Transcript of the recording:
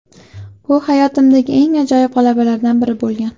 Bu hayotimdagi eng ajoyib g‘alabalardan biri bo‘lgan.